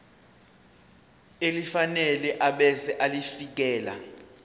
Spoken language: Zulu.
elifanele ebese ulifiakela